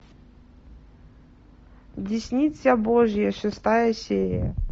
десница божья шестая серия